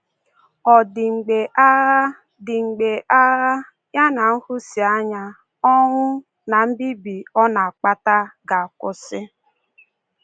Ọ̀ dị mgbe agha dị mgbe agha — ya na nhụsianya, ọnwụ, na mbibi ọ na-akpata — ga-akwụsị?